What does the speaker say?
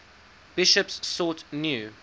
bishops sought new